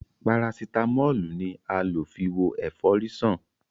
parasitámọ́lù ni a lo fi wo efori san.